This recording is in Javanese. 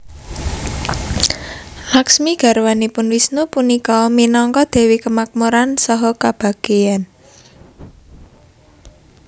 Lakhsmi garwanipun Wisnu punika minangka dewi kemakmuran saha kebahagiaan